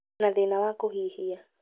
na thĩna wa kũhihia,